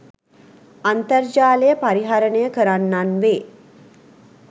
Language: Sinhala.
අන්තර්ජාලය පරිහරණය කරන්නන් වේ.